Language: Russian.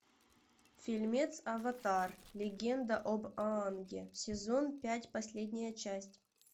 фильмец аватар легенда об аанге сезон пять последняя часть